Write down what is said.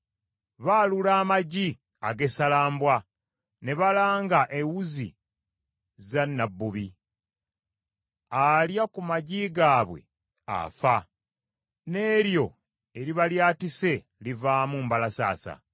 Baalula amagi ag’essalambwa ne balanga ewuzi za nnabbubi: alya ku magi gaabwe afa n’eryo eriba lyatise livaamu mbalasaasa.